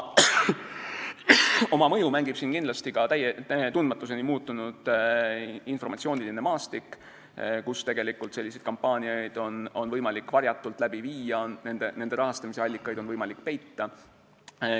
Oma rolli mängib siin kindlasti ka tundmatuseni muutunud informatsiooniline maastik, kus selliseid kampaaniaid on võimalik varjatult läbi viia ja nende rahastamise allikaid on võimalik peita.